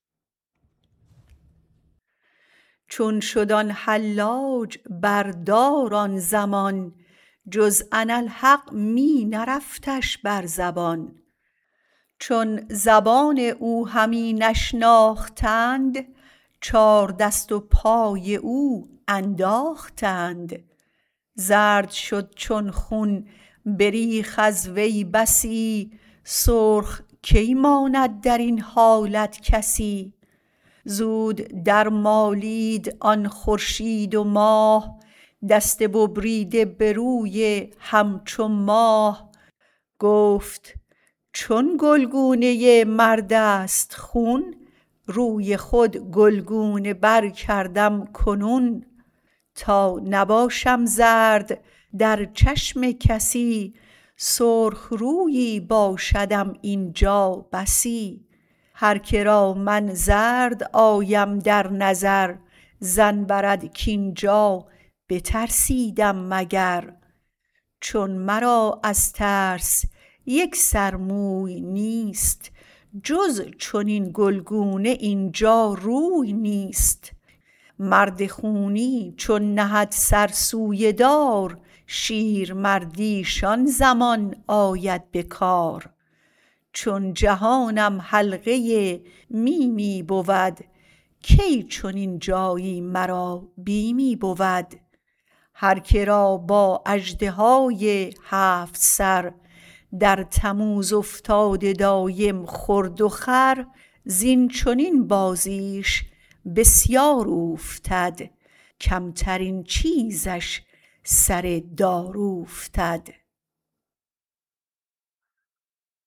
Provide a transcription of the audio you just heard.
چون شد آن حلاج بر دار آن زمان جز انا الحق می نرفتش بر زبان چون زبان او همی نشناختند چار دست و پای او انداختند زرد شد خون بریخت از وی بسی سرخ کی ماند درین حالت کسی زود درمالید آن خورشید و ماه دست بریده به روی هم چو ماه گفت چون گلگونه مردست خون روی خود گلگونه بر کردم کنون تا نباشم زرد در چشم کسی سرخ رویی باشدم اینجا بسی هرکه را من زرد آیم در نظر ظن برد کاینجا بترسیدم مگر چون مرا از ترس یک سر موی نیست جز چنین گلگونه اینجا روی نیست مرد خونی چون نهد سر سوی دار شیرمردیش آن زمان آید به کار چون جهانم حلقه میمی بود کی چنین جایی مرا بیمی بود هر که را با اژدهای هفت سر در تموز افتاده دایم خورد و خور زین چنین بازیش بسیار اوفتد کمترین چیزیش سر دار اوفتد